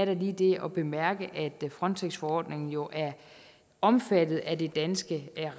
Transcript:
lige det at bemærke at frontexforordningen jo er omfattet af det danske